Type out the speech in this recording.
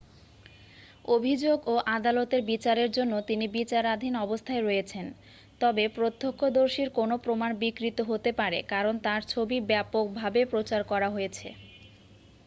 অভিযোগ ও আদালতের বিচারের জন্য তিনি বিচারাধীন অবস্থায় রয়েছেন তবে প্রত্যক্ষদর্শীর কোনও প্রমাণ বিকৃত হতে পারে কারণ তার ছবি ব্যাপকভাবে প্রচার করা হয়েছে